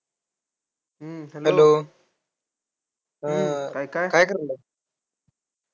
Hello काय काय करायलाय?